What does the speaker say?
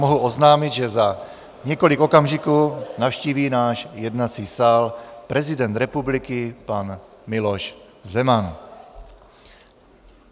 Mohu oznámit, že za několik okamžiků navštíví náš jednací sál prezident republiky pan Miloš Zeman.